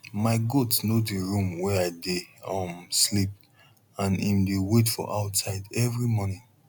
my goat know di room wey i dey um sleep and em dey wait for outside every morning